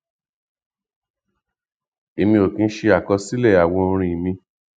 èmi ò kì ń ṣe àkọsílẹ àwọn orin mi